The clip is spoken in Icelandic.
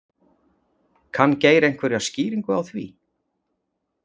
Kann Geir einhverja skýringu á því?